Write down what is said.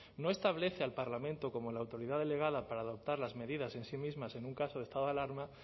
no establece al parlamento como la autoridad delegada para adoptar las medidas en sí mismas en un caso de estado de alarma